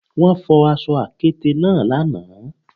Wọ́n fọ aṣọ àkéte náà lánàá